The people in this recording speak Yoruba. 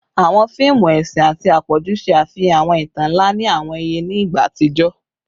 Awọn fiimu ẹsin ati apọju ṣe afihan awọn itan nla ati awọn iye ni igba atijọ